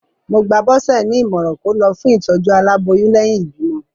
Mo gba Bọse ní ìmọ̀ràn kó lọ fún ìtòjú aláboyún lẹ́yìn ìbímọ.